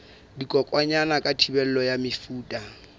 dikokwanyana ka thibelo ya mefuta